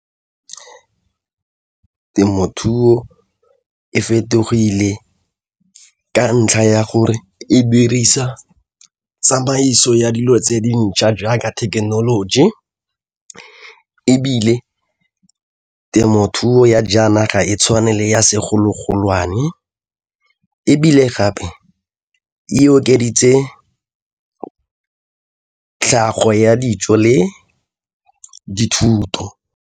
Temothuo e fetogile ka ntlha ya gore e dirisa tsamaiso ya dilo tse dintšha jaaka thekenoloji ebile temothuo ya jaana ga e tshwane le ya segologolwane ebile gape e okeditse tlhago ya dijo le dithuto.